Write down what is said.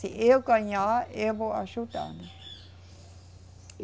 Se eu ganhar, eu vou ajudar, né.